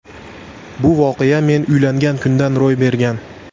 Bu voqea men uylangan kunda ro‘y bergan.